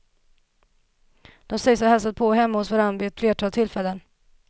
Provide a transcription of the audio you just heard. De sägs ha hälsat på hemma hos varann vid ett flertal tillfällen.